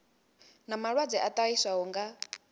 na malwadze a ṱahiswaho nga